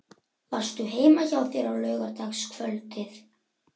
Varstu heima hjá þér á laugardagskvöldið?